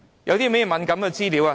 有甚麼敏感資料？